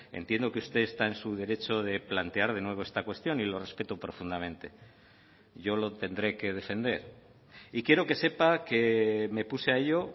entiendo que usted está en su derecho de plantear de nuevo esta cuestión y lo respeto profundamente yo lo tendré que defender y quiero que sepa que me puse a ello